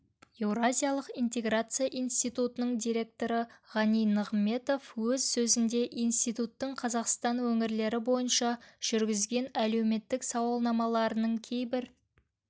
еуразиялық интеграция институтының директоры ғани нығыметов өз сөзінде институттың қазақстан өңірлері бойынша жүргізген әлеуметтік сауалнамаларының кейбір